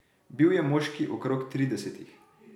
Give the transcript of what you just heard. Bil je moški okrog tridesetih.